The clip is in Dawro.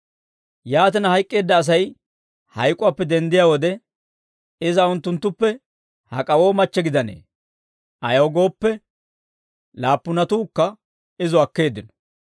Yaatina, hayk'k'eedda Asay hayk'uwaappe denddiyaa wode, iza unttunttuppe hak'awoo machche gidanee? Ayaw gooppe, laappunatuukka izo akkeeddino».